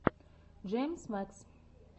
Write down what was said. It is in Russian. джеймс мэкс